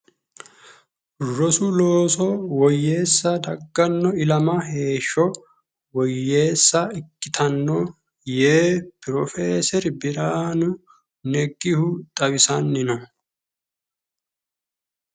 Rosu looso woyyeessa dagganno ilama heesho woyyeessa ikkitanno yee pirofeeseri biraanu neggihu xawisanni no